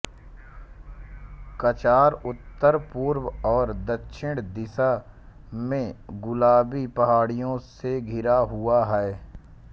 कचार उत्तर पूर्व और दक्षिण दिशा में गुलाबी पहाड़ियों से घिरा हुआ है